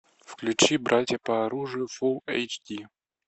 включи братья по оружию фулл эйч ди